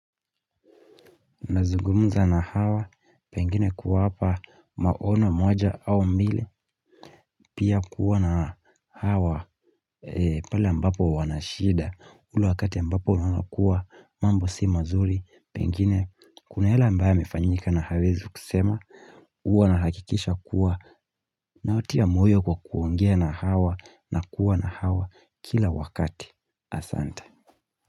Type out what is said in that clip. Nazugumza na hawa pengine kuwaapa maono moja au mile pia kuwa na hawa pale ambapo wanashida ule wakati ambapo unaona kuwa mambo si mazuri pengine kuna yale ambayo yamefanyika na hawezi kusema huwa nahakikisha kuwa na watia moyo kwa kuongea na hawa na kuwa na hawa kila wakati asante.